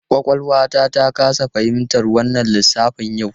Kwakwalwata ta kasa fahimtar wannan lissafin yau.